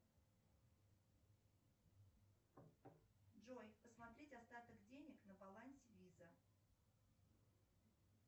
джой посмотреть остаток денег на балансе виза